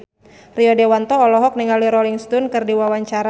Rio Dewanto olohok ningali Rolling Stone keur diwawancara